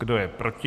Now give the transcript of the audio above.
Kdo je proti?